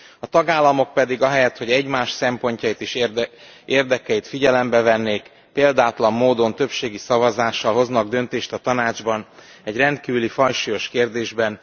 A tagállamok pedig ahelyett, hogy egymás szempontjait és érdekeit figyelembe vennék, példátlan módon többségi szavazással hoznak döntést a Tanácsban egy rendkívüli fajsúlyos kérdésben.